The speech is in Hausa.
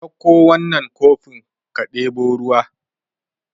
Ka dauko wannan kofin ka debo ruwa